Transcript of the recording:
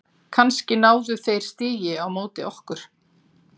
Kannski náðu þeir stigi á móti okkur?